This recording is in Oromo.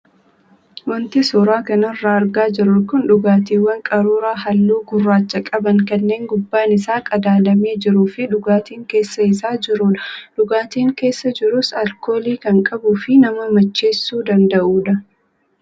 Wanti suuraa kanarraa argaa jirru kun dhugaatiiwwan qaruuraa halluu gurraacha qaban kanneen gubbaan isaa qadaadamee jiruu fi dhugaatiin keessa isaa jirudha. Dhugaatiin keessa jirus alkoolii kan qabuu fi nama macheessuu danda'udha.